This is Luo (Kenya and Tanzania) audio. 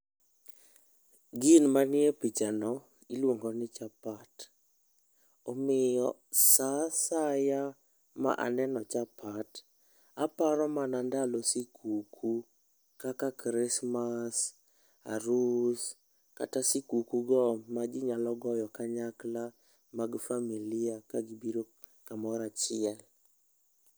Gin manie pichano, iluongo ni chapat. Omiyo sa asaya ma aneno chapat, aparo mana ndalo sikuku, kaka Christmas, arus kata sikuku go ma ji nyalo goyo kanyakla mag familia ka biro kamoro achiel.